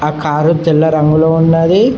ఆ కారు తెల్ల రంగులో ఉన్నది.